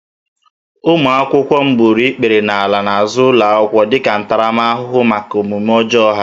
Ụmụ akwụkwọ m gburu ikpere n'ala n'azụ ụlọ akwụkwọ dịka ntaramahụhụ maka omume ọjọọ ha